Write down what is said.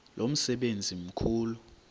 lo msebenzi mkhulu